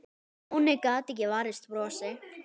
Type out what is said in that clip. Stjáni gat ekki varist brosi.